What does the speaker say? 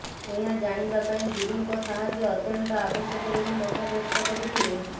ଏହା ଜାଣିବାପାଇଁ ଗୁରୁଙ୍କର ସାହାଯ୍ୟ ଅତ୍ୟନ୍ତ ଆବଶ୍ୟକ ବୋଲି ମତବ୍ୟକ୍ତ କରିଥିଲେ